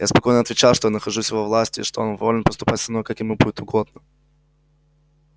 я спокойно отвечал что я нахожусь в его власти и что он волен поступать со мною как ему будет угодно